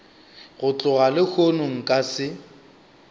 go tloga lehono nka se